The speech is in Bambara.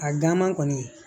A ganman kɔni